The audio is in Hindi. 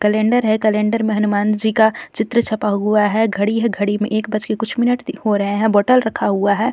कलेंडर है कलेंडर में हनुमान जी का चित्र छपा हुआ है घड़ी है घड़ी में एक बज के कुछ मिनट हो रहे हैं बोटल रखा हुआ है.